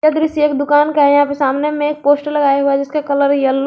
यह दृश्य एक दुकान का है यहां पे सामने में एक पोस्टर लगाए हुए हैं जिसका कलर कलर येलो --